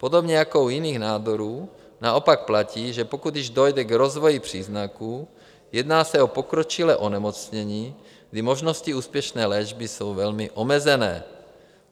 Podobně jako u jiných nádorů naopak platí, že pokud již dojde k rozvoji příznaků, jedná se o pokročilé onemocnění, kdy možnosti úspěšné léčby jsou velmi omezené.